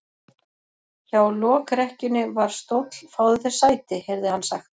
Hjá lokrekkjunni var stóll:-Fáðu þér sæti, heyrði hann sagt.